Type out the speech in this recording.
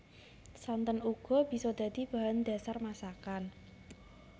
Santen uga bisa dadi bahan dhasar masakan